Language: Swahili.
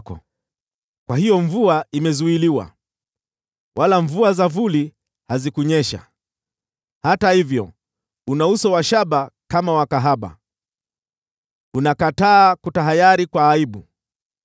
Kwa hiyo mvua imezuiliwa, nazo mvua za vuli hazikunyesha. Hata hivyo, una uso usio na haya kama wa kahaba; unakataa kutahayari kwa aibu.